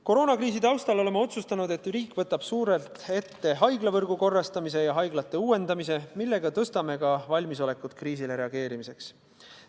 Koroonakriisi taustal oleme otsustanud, et riik võtab suurelt ette haiglavõrgu korrastamise ja haiglate uuendamise, millega parandame valmisolekut kriisile reageerida.